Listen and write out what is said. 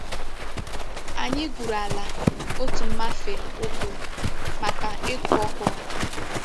Anyi gwuru ala otu mmafe ukwu maka iku okwuru.